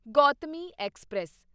Gautami express